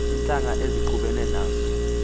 iintlanga ezixubeneyo nazo